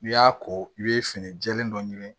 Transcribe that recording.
N'i y'a ko i bɛ fini jɛlen dɔ ɲini